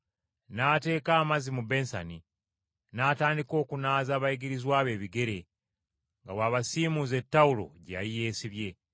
n’ateeka amazzi mu bensani, n’atandika okunaaza abayigirizwa be ebigere nga bw’abasiimuuza ettawulo gye yali yeesibye.